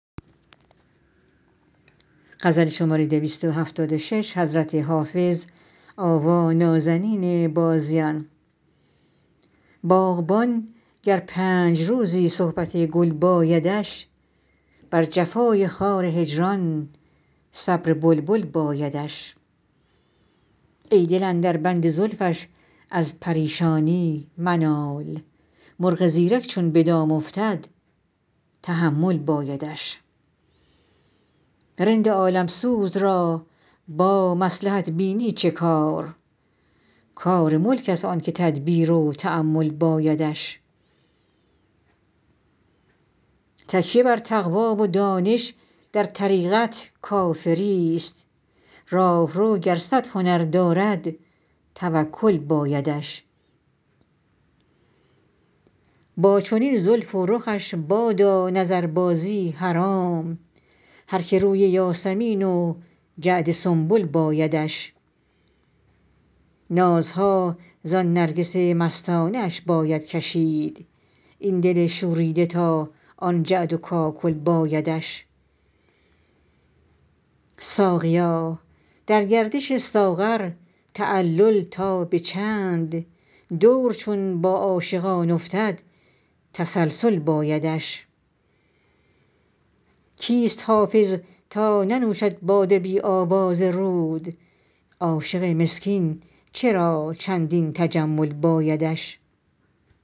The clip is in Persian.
باغبان گر پنج روزی صحبت گل بایدش بر جفای خار هجران صبر بلبل بایدش ای دل اندر بند زلفش از پریشانی منال مرغ زیرک چون به دام افتد تحمل بایدش رند عالم سوز را با مصلحت بینی چه کار کار ملک است آن که تدبیر و تأمل بایدش تکیه بر تقوی و دانش در طریقت کافری ست راهرو گر صد هنر دارد توکل بایدش با چنین زلف و رخش بادا نظربازی حرام هر که روی یاسمین و جعد سنبل بایدش نازها زان نرگس مستانه اش باید کشید این دل شوریده تا آن جعد و کاکل بایدش ساقیا در گردش ساغر تعلل تا به چند دور چون با عاشقان افتد تسلسل بایدش کیست حافظ تا ننوشد باده بی آواز رود عاشق مسکین چرا چندین تجمل بایدش